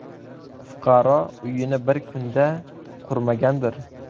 Fuqaro uyini bir kunda qurmagandir?